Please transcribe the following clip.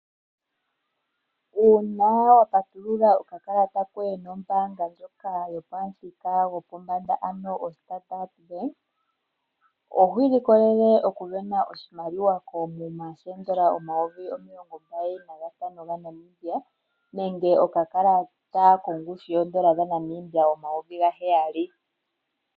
Uuna wapatulula okakalata koye nombaanga ndjoka yopamuthika gwopombanda, ano oStandard Bank, ohwi ilikolele okusindana oshimaliwa koomuma sheendola omayovi omilongo mbali nantano dhaNamibia, nenge okakalata kongushu yeendola dhaNamibia omayovi gaheyali.